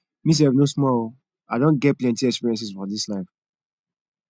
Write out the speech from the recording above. me sef no small o i don get plenty experiences for dis life